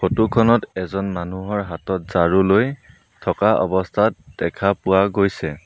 Photo খনত এজন মানুহৰ হাতত ঝাৰুলৈ থকা অৱস্থাত দেখা পোৱা গৈছে।